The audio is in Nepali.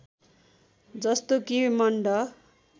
जस्तो कि मण्ड